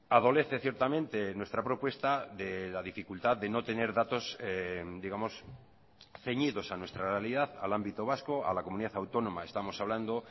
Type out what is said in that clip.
adolece ciertamente nuestra propuesta de la dificultad de no tener datos digamos ceñidos a nuestra realidad al ámbito vasco a la comunidad autónoma estamos hablando